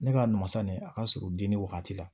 Ne ka masa nin a ka surun den ni wagati la